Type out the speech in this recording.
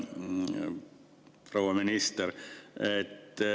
Proua minister!